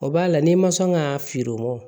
O b'a la n'i ma sɔn ka fin o ma